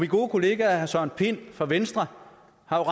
gode kollega herre søren pind fra venstre har